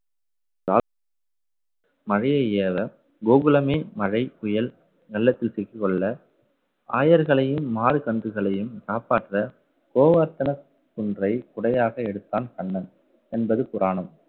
மழையை ஏல கோகுலமே மழை புயல் வெள்ளத்தில் சிக்கிக் கொள்ள ஆயர்களையும் மாடு கன்றுகளையும் காப்பாற்ற கோவர்த்தன குன்றை குடையாக எடுத்தான் கண்ணன் என்பது புராணம்